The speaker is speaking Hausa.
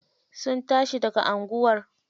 Sun tashi daga anguwar.